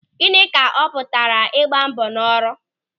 Gịnị ka ọ pụtara ịgba mbọ n'ọrụ?